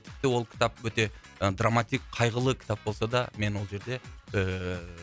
тіпті ол кітап өте і драматик қайғылы кітап болса да мен ол жерде ііі